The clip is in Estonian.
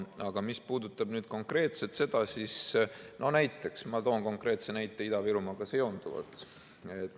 Aga mis puudutab konkreetselt seda, siis ma toon konkreetse näite Ida-Virumaaga seonduvalt.